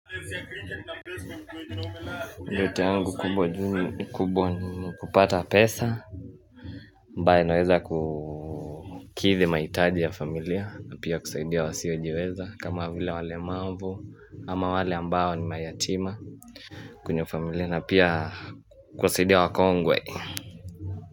Nyota yangu kubwa juu ni, kubwa ni kupata pesa ambayo naweza kukidhi mahitaji ya familia na pia kusaidia wasiojiweza kama vile walemavu Ama wale ambao ni mayatima kwenye familia na pia kusaidia wakongwe.